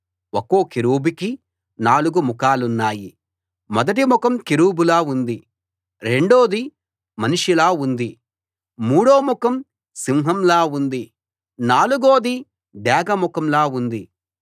ఒక్కో కెరూబుకీ నాలుగు ముఖాలున్నాయి మొదటి ముఖం కెరూబులా ఉంది రెండోది మనిషిలా ఉంది మూడో ముఖం సింహంలా ఉంది నాలుగోది డేగ ముఖంలా ఉంది